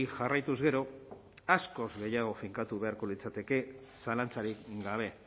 jarraituz gero askoz gehiago finkatu beharko litzateke zalantzarik gabe